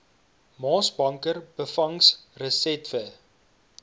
maasbanker byvangs resetwe